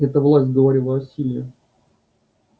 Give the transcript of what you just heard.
эта власть говорила о силе